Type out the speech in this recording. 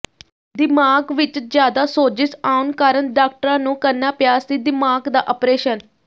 ਦਿਮਾਗ ਵਿੱਚ ਜ਼ਿਆਦਾ ਸੋਜਿਸ ਆਉਣ ਕਾਰਨ ਡਾਕਟਰਾਂ ਨੂੰ ਕਰਨਾ ਪਿਆ ਸੀ ਦਿਮਾਗ ਦਾ ਅਪਰੇਸ਼ਨ